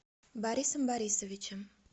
борисом борисовичем